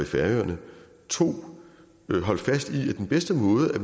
færøerne 2 at holde fast i at den bedste måde